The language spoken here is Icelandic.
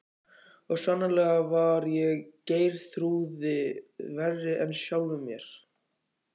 Og sannarlega var ég Geirþrúði verri en sjálfum mér.